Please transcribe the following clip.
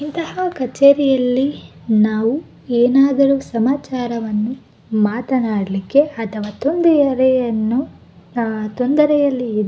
ಇಂತಹ ಕಚೇರಿಯಲ್ಲಿ ನಾವು ಏನಾದರು ಸಮಾಚಾರವನ್ನು ಮಾತನಾಡಲಿಕ್ಕೆ ಅಥವಾ ತುಂದಿಯರೆ ಎನ್ನು ಆಆ ತೊಂದರೆಯಲ್ಲಿ ಇದ್ --